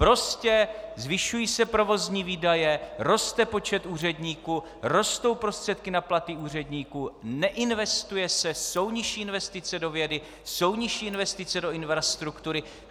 Prostě zvyšují se provozní výdaje, roste počet úředníků, rostou prostředky na platy úředníků, neinvestuje se, jsou nižší investice do vědy, jsou nižší investice do infrastruktury.